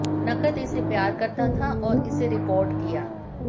नकद इसे प्यार करता था और इसे रिकॉर्ड किया